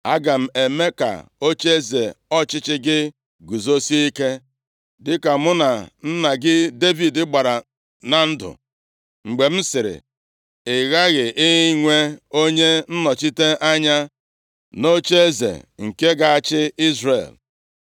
Aga m eme ka ocheeze ọchịchị gị guzosie ike, dịka mụ na nna gị Devid gbara na ndụ, mgbe m sịrị, ‘Ị ghaghị inwe onye nnọchite anya nʼocheeze nke ga-achị Izrel.’